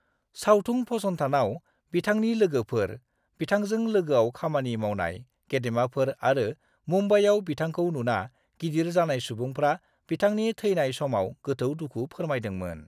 सावथुन फसंथानाव बिथांनि लोगोफोर, बिथांजों लोगोआव खामानि मावनाय गेदेमाफोर आरो मुम्बाइआव बिथांखौ नुना गिदिर जानाय सुबुंफ्रा बिथांनि थैनाय समाव गोथौ दुखु फोरमायदोंमोन।